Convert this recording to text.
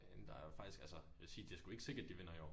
Men der faktisk altså jeg vil sige det sgu ikke sikkert de vinder i år